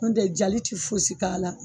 N'o tɛ jali tɛ fosi k' a la